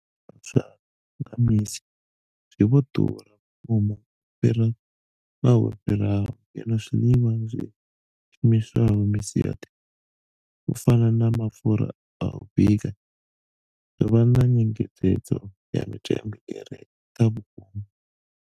Vhunzhi ha zwiḽiwa zwa nga misi zwi vho ḓura vhukuma u fhira ṅwaha wo fhiraho, ngeno zwiḽiwa zwi shumiswaho misi yoṱhe u fana na mapfhura a u bika zwo vha na nyengedzedzo ya mitengo i re nṱha vhukuma.